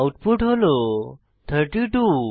output হল 32